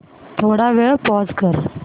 थोडा वेळ पॉझ कर